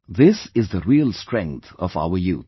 This is the real strength of our youth